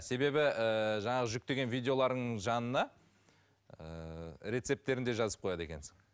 себебі ііі жаңағы жүктеген видеолардың жанына ііі рецептерін де жазып қояды екенсің